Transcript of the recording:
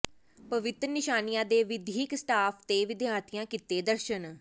ਪਵਿੱਤਰ ਨਿਸ਼ਾਨੀਆਂ ਦੇ ਵਿੱਦਿਅਕ ਸਟਾਫ਼ ਤੇ ਵਿਦਿਆਰਥੀਆਂ ਕੀਤੇ ਦਰਸ਼ਨ